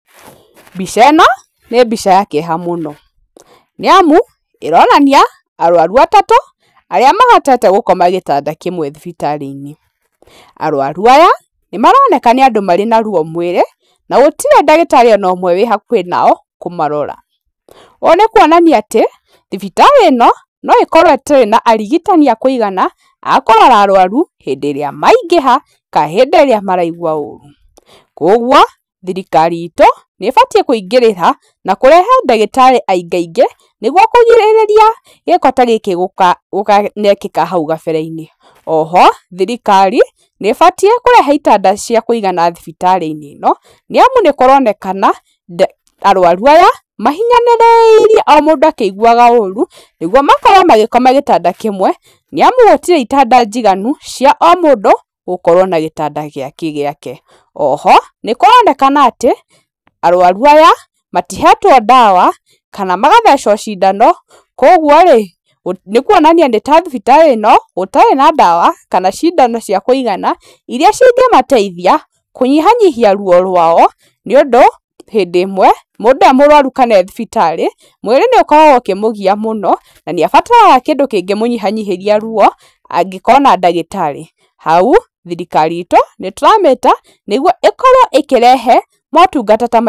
Mbica ĩno nĩ mbica ya kĩeha mũno, nĩ amu ĩronania arwaru atatũ arĩa mahotete gũkoma gĩtanda kĩmwe thibitarĩ-inĩ, arwaru aya nĩ maroneka nĩ andũ marĩ na ruo mwĩrĩ, na gũtirĩ ndagĩtarĩ onomwe wĩ hakuhĩ nao kũmarora, ũũ nĩ kuonania atĩ, thibitarĩ ĩno no ĩkorwo ĩtarĩ na arigitani a kũigana a kũrora arwaru hĩndĩ ĩrĩa maingĩha kana hĩndĩ ĩrĩa maraigwa ũru, koguo thirikari itũ nĩ ĩbatiĩ kũingĩrĩra na kũrehe ndagĩtarĩ aingaingĩ nĩguo kũgirĩrĩria gĩko ta gĩkĩ gũka gũkanekĩka hau kabere-inĩ. Oho, thirikari nĩ ĩbatiĩ kũrehe itanda cia kũigana thibitarĩ-inĩ ĩno, nĩ amu nĩ kũronekana, arwaru aya, mahinyanĩrĩirie o mũndũ akĩiguaga ũru, nĩguo makorwo magĩkoma gĩtanda kĩmwe, nĩ amu gũtirĩ itanda njiganu cia o mũndũ gũkorwo na gĩtanda gĩake gĩake. Oho nĩ kũronekana atĩ, arwaru aya matihetwo ndawa, kana magathecwo cindano, koguo rĩ nĩ kuonania nĩ ta thibitarĩ ĩno gũtarĩ na ndawa kana cindano cia kũigana iria cingĩmateithia, kũnyihanyihia ruo rwao, nĩũndũ hĩndĩ ĩmwe, mũndũ e mũrwaru kana e thibitarĩ, mwĩrĩ nĩ ũkoragwo ũkĩmũgia mũno, na nĩ abatara kĩndũ kĩngĩ mũnyihanyihĩria ruo, angĩkona ndagĩtarĩ, hau thirikari itũ nĩ tũramĩta nĩguo ĩkorwo ĩkĩrehe motungata ta maya.